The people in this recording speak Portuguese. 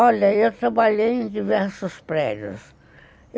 Olha, eu trabalhei em diversos prédios.